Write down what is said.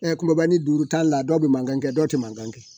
kulubali juru t'a la dɔw bɛ mankan kɛ dɔw tɛ mankan kɛ